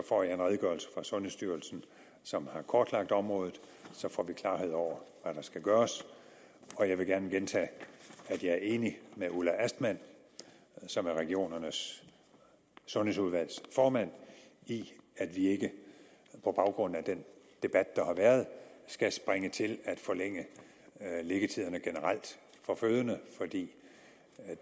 får jeg en redegørelse fra sundhedsstyrelsen som har kortlagt området så får vi klarhed over hvad der skal gøres jeg vil gerne gentage at jeg er enig med ulla astman som er regionernes sundhedsudvalgs formand i at vi ikke på baggrund af den debat der har været skal springe til at forlænge liggetiderne generelt for fødende for det